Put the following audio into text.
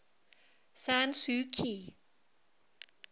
san suu kyi